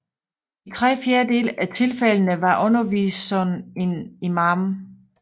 I tre fjerdedele af tilfældende var underviseren en Imam